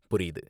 புரியுது.